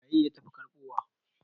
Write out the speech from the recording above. waye ya tafi karbowa?